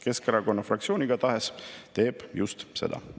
Keskerakonna fraktsioon igatahes teeb just seda.